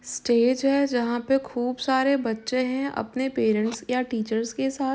Stage है जहाँ पर खूब सारे बच्चे हैं अपने पेरेंट्स या टीचर्स के साथ।